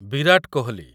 Virat Kohli